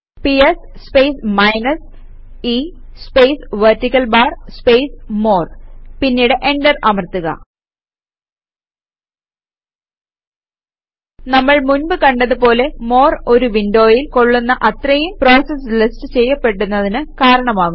PS space minus e space vertical bar space more പിന്നീട് enter അമർത്തുക നമ്മൾ മുൻപ് കണ്ടത് പോലെ മോർ ഒരു വിൻഡോയിൽ കൊള്ളുന്ന അത്രയും പ്രോസസസ് ലിസ്റ്റ് ചെയ്യപ്പെടുന്നതിന് കാരണമാകുന്നു